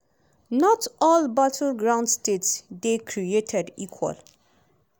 not all battleground states dey created equal.